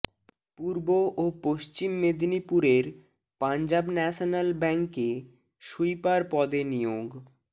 পূর্ব ও পশ্চিম মেদিনীপুরের পাঞ্জাব ন্যাশনাল ব্যাঙ্কে সুইপার পদে নিয়োগ